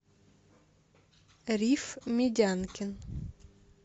риф медянкин